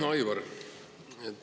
Hea Aivar!